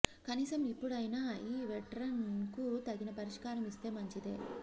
కనీసం ఇప్పుడైనా ఈ వెటరన్ కు తగిన పురస్కారం ఇస్తే మంచిదే